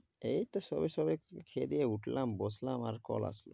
এইত সবে সবে খেয়ে দেয়ে উঠলাম বসলাম আর call আসল।